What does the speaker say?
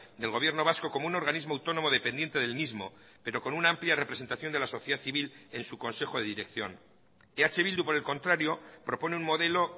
del gobierno vasco como un organismo autónomo dependiente del mismo pero con una amplia representación de la sociedad civil en su consejo de dirección eh bildu por el contrario propone un modelo